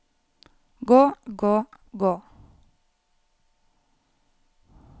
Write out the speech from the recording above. gå gå gå